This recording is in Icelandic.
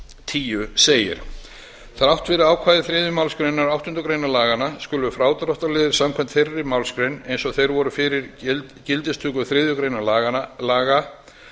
tíu segir þrátt fyrir ákvæði þriðju málsgrein áttundu grein laganna skulu frádráttarliðir samkvæmt þeirri málsgrein eins og þeir voru fyrir gildistöku þriðju grein laga